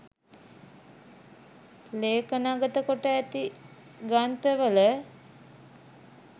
ලේඛනගත කොට ඇති ග්‍රන්ථවල